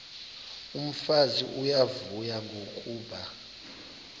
umfazi uyavuya kuba